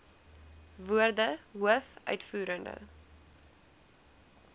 woorde hoof uitvoerende